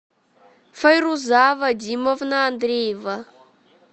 файруза вадимовна андреева